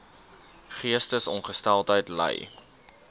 geestesongesteldheid ly